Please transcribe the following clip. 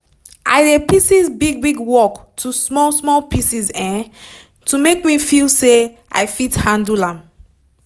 i dey pieces big big work to small small pieces um to make me feel say i fit handle am